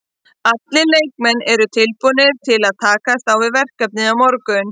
Allir leikmenn eru tilbúnir til að takast á við verkefnið á morgun.